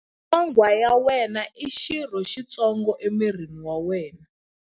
Nyonghwa ya wena i xirho xitsongo emirini wa wena.